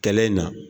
Kɛlen in na